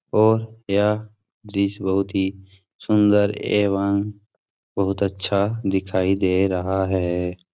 और यह दृश्य बहुत ही सुन्दर एवं बहुत अच्छा दिखाई दे रहा है।